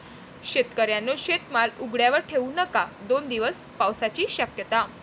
शेतकऱ्यांनो, शेतमाल उघड्यावर ठेऊ नका!, दोन दिवस पावसाची शक्यता